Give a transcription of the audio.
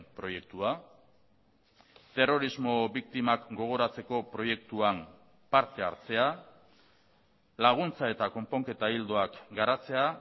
proiektua terrorismo biktimak gogoratzeko proiektuan parte hartzea laguntza eta konponketa ildoak garatzea